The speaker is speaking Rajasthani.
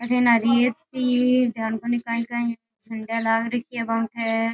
अठे न जान कोनी कांई कांई झंडा लाग रख्या है वहां पे।